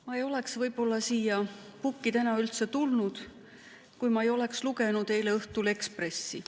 Ma ei oleks võib-olla siia pukki tulnud, kui ma ei oleks lugenud eile õhtul Ekspressi.